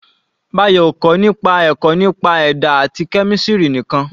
Bayo ò kọ́ nípa ẹ̀kọ́ nípa ẹ̀dá àti kẹ́mísìrì nìkan.